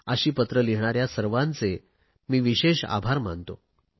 अशी पत्र लिहिणाऱ्या सर्वांचे मी विशेष आभार मानतो